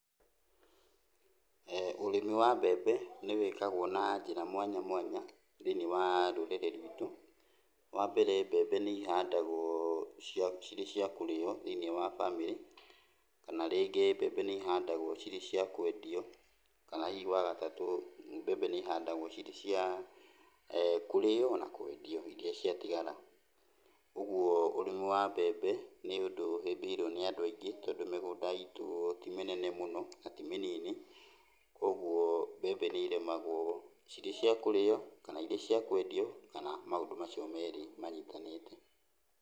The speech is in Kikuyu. Ũrĩmi wa mbembe nĩwĩkagũo na njĩra mwanya mwanya, thĩiniĩ wa rũrĩrĩ rwitũ. Wambere mbembe nĩihandagũo cirĩ cia kũrĩo thĩiniĩ wa bamĩrĩ, kana rĩngĩ mbembe nĩ ihandagwo cirĩ cia kwendio. Kana hihi wagatatũ mbembe nĩihandagũo cirĩ cia kũrĩo na kwendio iria ciatigara. Ũguo ũrĩmi wa mbembe nĩũndũ ũhĩmbĩirio nĩ andũ aingĩ tondũ mĩgũnda itũ timĩnene mũno na ti mĩnini. Kuoguo mbembe nĩirĩmagũo cirĩ cia kũrĩo kana irĩ cia kwendio kana maũndũ macio merĩ manyitanĩte.